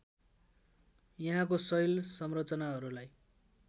यहाँको शैल संरचनाहरूलाई